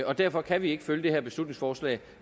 og derfor kan vi ikke støtte det her beslutningsforslag